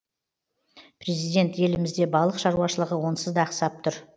президент елімізде балық шаруашылығы онсыз да ақсап тұр